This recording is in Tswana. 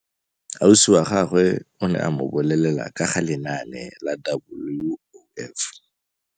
Ausi wa gagwe o ne a mo bolelela ka ga lenaane la WOF.